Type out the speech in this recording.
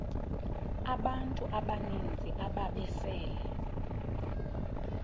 abantu abaninzi ababesele